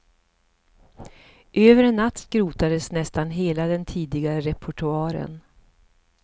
Över en natt skrotades nästan hela den tidigare repertoaren.